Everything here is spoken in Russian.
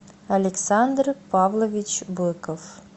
александр павлович быков